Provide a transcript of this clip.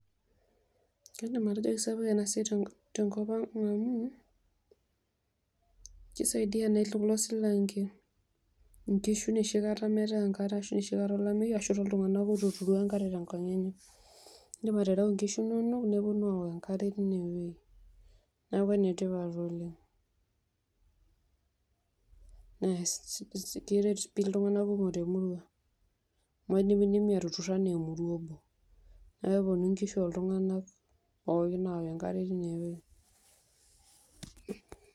Kaidim atejo kesapuk enasiai tenkop aang amu kisaidia elesilanke nkishu enoshikata metae enkare ashu tolameyu ashu enoshikata eetai ltunganak litueturu enkare tenkop enye, indim atereu nkishu inonok neponu aok enkare tineweuji neaku enetipat oleng, Keret ltunganak kumok temurua amu indimi atutur anaa emurua neaku keponu nkishu oltunganak pooki aok enkare .